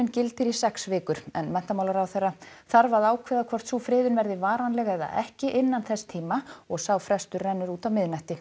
gildir í sex vikur en menntamálaráðherra þarf ákveða hvort sú friðun verði varanleg eða ekki innan þess tíma og sá frestur rennur út á miðnætti